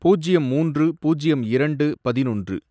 பூஜ்யம் மூன்று, பூஜ்யம் இரண்டு, பதினொன்று